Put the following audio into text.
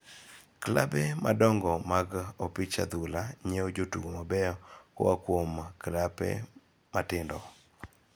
Klabe madongo mag opich adhula nyiewo jotugo mabeyo koa kuom klabe matindo.